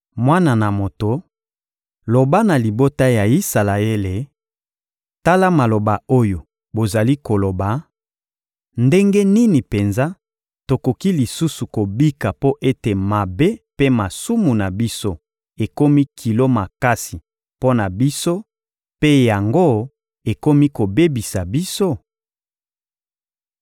Mwana na moto, loba na libota ya Isalaele: ‹Tala maloba oyo bozali koloba: ‘Ndenge nini penza tokoki lisusu kobika mpo ete mabe mpe masumu na biso ekomi kilo makasi mpo na biso, mpe yango ekomi kobebisa biso?’›